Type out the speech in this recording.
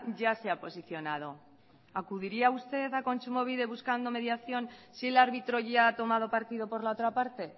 ya se ha posicionado acudiría usted a kontsumobide buscando mediación si el árbitro ya ha tomado partido por la otra parte